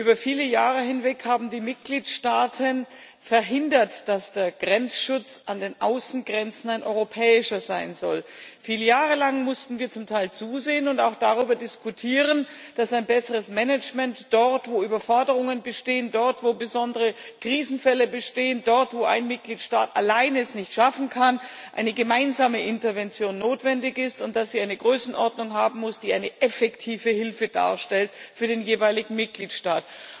Über viele Jahre hinweg haben die Mitgliedstaaten verhindert, dass der Grenzschutz an den Außengrenzen ein europäischer sein soll. Viele Jahre lang mussten wir zum Teil zusehen und auch darüber diskutieren, dass dort, wo Überforderungen bestehen, dort, wo besondere Krisenfälle bestehen, dort, wo ein Mitgliedstaat allein es nicht schaffen kann, ein besseres Management eine gemeinsame Intervention notwendig sind und dass sie eine Größenordnung haben müssen, die eine effektive Hilfe darstellt für den jeweiligen Mitgliedstaat.